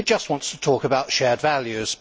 it just wants to talk about shared values.